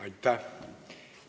Aitäh!